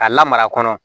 K'a lamara kɔnɔ